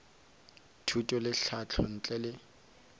thuto le tlhahlo ntle le